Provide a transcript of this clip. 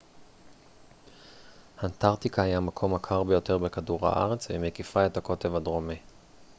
אנטרקטיקה היא המקום הקר ביותר בכדור הארץ והיא מקיפה את הקוטב הדרומי